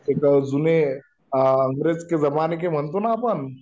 जुने अंग्रेजो के जमाने का म्हणतो ना आपण